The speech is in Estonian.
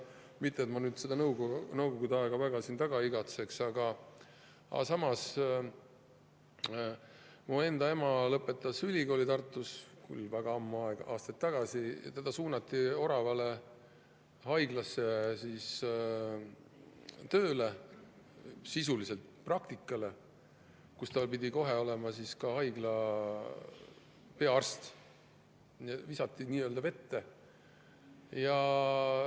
Mitte et ma seda Nõukogude aega väga taga igatseks, aga samas mu enda ema lõpetas ülikooli Tartus, küll väga palju aastaid tagasi, ta suunati Oravale haiglasse tööle, sisuliselt praktikale, kuid ta pidi kohe olema ka haigla peaarst, visati nii-öelda vette.